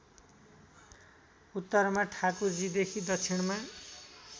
उत्तरमा ठाकुरजीदेखि दक्षिणमा